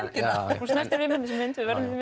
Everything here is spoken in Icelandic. gelgjuna hún snertir við manni þessi mynd við verðum því